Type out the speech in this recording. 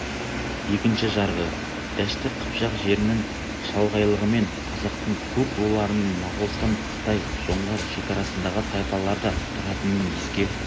екінші жарғы дәшті қыпшақ жерінің шалғайлығымен қазақтың көп руларының моғолстан қытай жоңғар шекарасындағы тайпаларда тұратынын еске